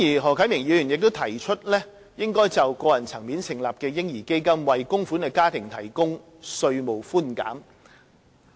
何啟明議員亦提出應在個人層面成立的"嬰兒基金"，為供款的家庭提供稅務寬減。